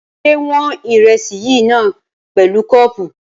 Ṣé wọn ìrẹsì yìí náà pẹ̀lú kọ́ọ̀pù?